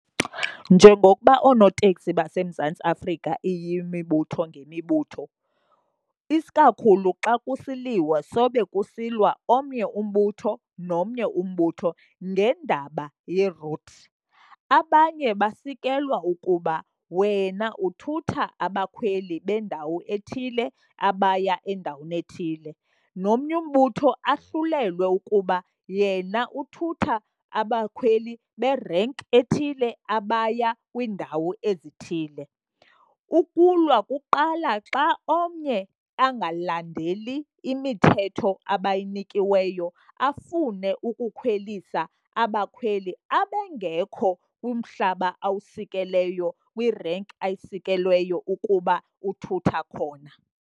Njengokuba oonoteksi baseMzantsi Afrika iyimibutho ngemibutho, isikakhulu xa kusiliwa sobe kusilwa omnye umbutho nomnye umbutho ngendaba ye-routes. Abanye basikelwa ukuba wena uthutha abakhweli bendawo ethile abaya endaweni ethile, nomnye umbutho ahlulelwe ukuba yena uthutha abakhweli be-rank ethile abaya kwiindawo ezithile. Ukulwa kuqala xa omnye angalandeli imithetho abayinikiweyo, afune ukukhwelisa abakhweli abengekho kumhlaba awusikelweyo kwi-rank ayisikelweyo ukuba uthutha khona.